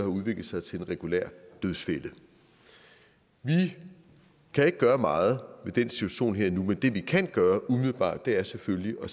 udviklet sig til en regulær dødsfælde vi kan ikke gøre meget ved den situation her og nu men det vi kan gøre umiddelbart er selvfølgelig at